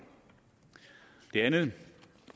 det andet